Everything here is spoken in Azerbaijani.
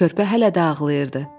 Körpə hələ də ağlayırdı.